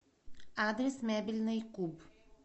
адрес мебельный куб